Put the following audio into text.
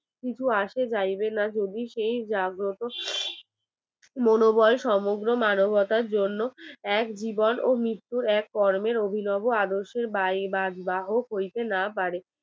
মনোবল সমগ্র মানবতার জন্য এক জীবন ও মৃত্যুর এক কর্মের অভিনব আদর্শের বাহ ~ বাহক হইতে না পারে